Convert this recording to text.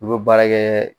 U bɛ baara kɛɛ